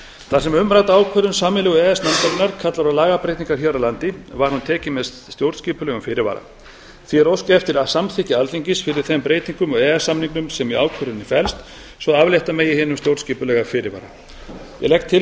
þar sem umrædd ákvörðun sameiginlegu e e s nefndarinnar kallar á lagabreytingar hér á landi var hún tekin með stjórnskipulegum fyrirvara því er óskað eftir að samþykki alþingis fyrir þeim breytingum á e e s samningnum sem í ákvörðunni felst svo aflétta megi hinum stjórnskipulega fyrirvara ég legg til